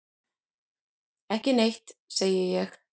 Ekki neitt, segi ég.